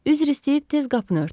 Üzr istəyib tez qapını örtdüm.